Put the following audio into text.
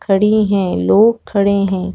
खड़ी है लोग खड़े है।